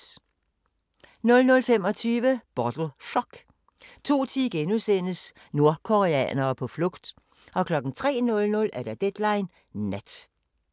00:25: Bottle Shock 02:10: Nordkoreanere på flugt * 03:00: Deadline Nat